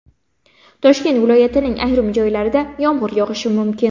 Toshkent viloyatining ayrim joylarida yomg‘ir yog‘ishi mumkin.